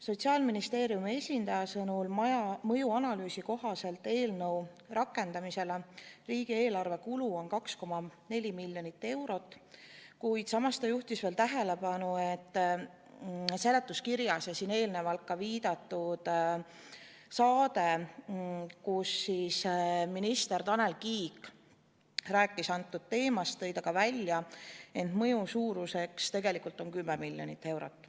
Sotsiaalministeeriumi esindaja sõnul on mõjuanalüüsi kohaselt eelnõu rakendamise kulu riigieelarvele 2,4 miljonit eurot, kuid samas ta juhtis tähelepanu, et täna enne viidatud saates, kus minister Tanel Kiik rääkis ka sellest teemast, tõi ta välja, et mõju suurus on tegelikult 10 miljonit eurot.